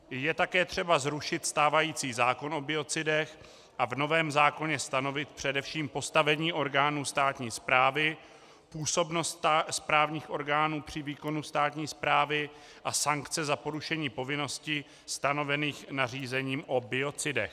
Je také třeba zrušit stávající zákon o biocidech a v novém zákoně stanovit především postavení orgánů státní správy, působnost správních orgánů při výkonu státní správy a sankce za porušení povinností stanovených nařízením i biocidech.